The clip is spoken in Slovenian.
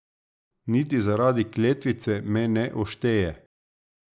Niti zaradi kletvice me ne ošteje.